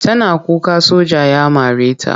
Tana kuka soja ya mare ta.